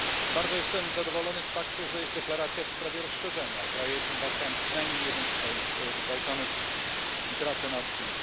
Bardzo jestem zadowolony z faktu, że jest deklaracja w sprawie rozszerzenia o kraje Bałkanów, przynajmniej o jeden z krajów Bałkanów i prace nad tym.